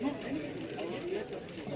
Yavaş, yavaş, yavaş.